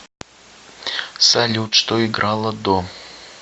салют что играло до